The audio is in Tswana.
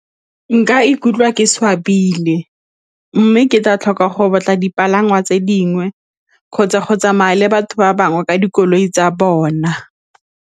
Nka ikutlwa ke swabile mme ke tla tlhoka gore batla dipalangwa tse dingwe kgotsa go tsamaya le batho ba bangwe ka dikoloi tsa bona.